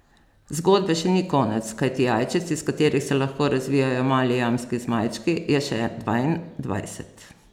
Zgodbe še ni konec, kajti jajčec, iz katerih se lahko razvijajo mali jamski zmajčki, je še dvaindvajset.